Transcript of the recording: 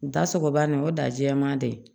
Da sogobana nin o dajɛma dɛ